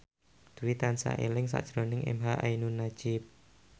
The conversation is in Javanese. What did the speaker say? Dwi tansah eling sakjroning emha ainun nadjib